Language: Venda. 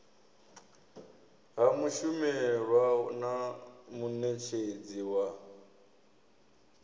ha mushumelwa na munetshedzi wa